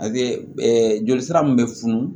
A bɛ joli sira min bɛ funu